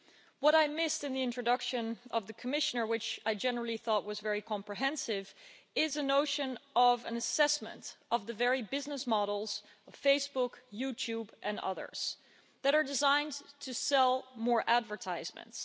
What I missed in the introduction by the Commissioner, which I generally thought was very comprehensive, is a notion of an assessment of the very business models of Facebook, YouTube and others, that are designed to sell more advertisements.